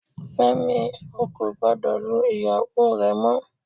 Fẹ́mi, ó kò gbọ́dọ̀ lu ìyàwó rẹ mọ